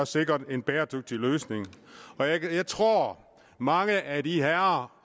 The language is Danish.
sikret en bæredygtig løsning og jeg tror at mange af de herrer